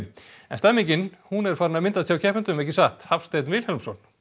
stemningin er farin að myndast hjá keppendum ekki satt Hafsteinn Vilhelmsson